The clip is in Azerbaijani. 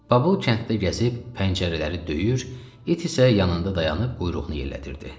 Babıl kənddə gəzib, pəncərələri döyür, it isə yanında dayanıb quyruğunu yellədirdi.